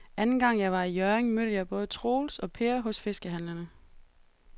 Anden gang jeg var i Hjørring, mødte jeg både Troels og Per hos fiskehandlerne.